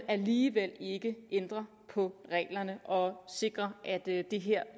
alligevel ikke ændre på reglerne og sikre at det her